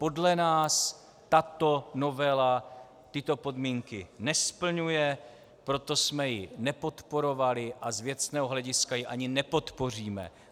Podle nás tato novela tyto podmínky nesplňuje, proto jsme ji nepodporovali a z věcného hlediska ji ani nepodpoříme.